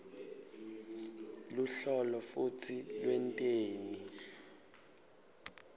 luhlolo futsi lwenteni